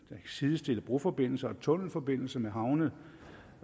sidestille broforbindelser og tunnelforbindelser med havne